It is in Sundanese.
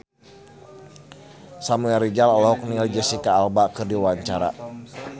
Samuel Rizal olohok ningali Jesicca Alba keur diwawancara